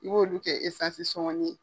I b'olu kɛ sɔngɔnin ye.